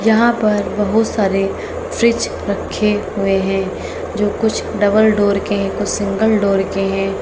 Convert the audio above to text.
यहां पर बहुत सारे फ्रिज रखे हुए हैं जो कुछ डबल डोर के कुछ सिंगल डोर के हैं।